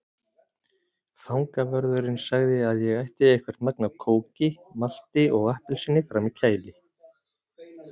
Fangavörðurinn sagði að ég ætti eitthvert magn af kóki, malti og appelsíni frammi í kæli.